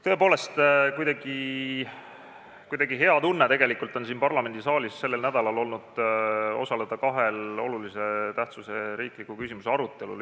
Tõepoolest, kuidagi hea tunne on siin parlamendisaalis sellel nädalal olnud osaleda kahel olulise tähtsusega riikliku küsimuse arutelul.